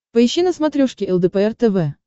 поищи на смотрешке лдпр тв